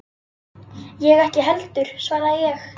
Ég ekki heldur, svaraði ég.